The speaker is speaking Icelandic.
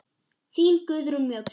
Þín Guðrún Mjöll.